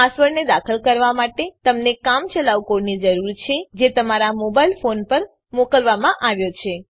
પાસવર્ડને દાખલ કરવા માટે તમને કામચલાઉ કોડની જરૂર છે જે તમારા મોબાઈલ ફોન પર મોકલવામાં આવ્યો છે